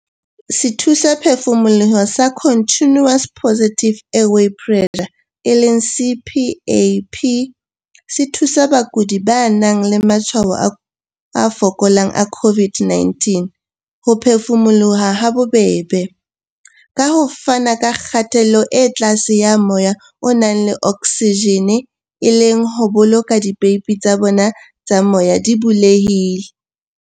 Sethusaphefumoloho sa Continuous Positive Airway Pressure, CPAP, se thusa bakudi ba nang le matshwao a fokolang a COVID-19 ho phefumoloha habobebe, ka ho fana ka kgatello e tlase ya moya o nang le oksijene e le ho boloka dipeipi tsa bona tsa moya di bulehile.